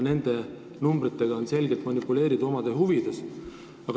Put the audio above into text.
Nende arvudega on selgelt omade huvides manipuleeritud.